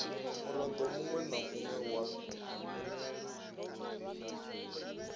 murado munwe na munwe wa